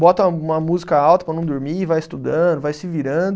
Bota uma música alta para não dormir, vai estudando, vai se virando.